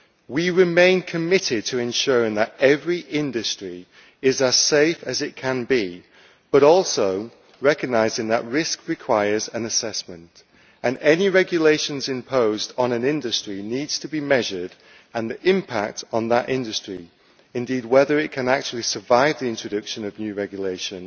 We remain committed to ensuring that every industry is as safe as it can be, but also recognising that risk requires an assessment, and any regulations imposed on an industry need to be measured, and the impact on that industry indeed, whether it can actually survive the introduction of new regulation